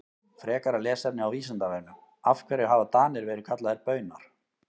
Frekara lesefni á Vísindavefnum Af hverju hafa Danir verið kallaðir Baunar?